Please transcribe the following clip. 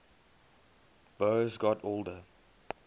boas got older